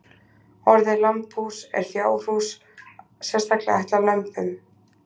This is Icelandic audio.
Orðið lambhús er fjárhús sérstaklega ætlað lömbum.